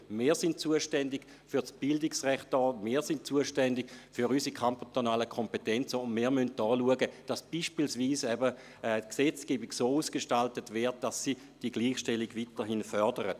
Wir sind zuständig für das Bildungsrecht, wir sind zuständig für unsere kantonalen Kompetenzen, und wir müssen schauen, dass beispielsweise die Gesetzgebung so ausgestaltet wird, dass sie die Gleichstellung weiterhin fördert.